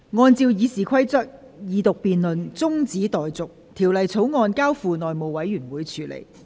按照《議事規則》，二讀辯論中止待續，《條例草案》交付內務委員會處理。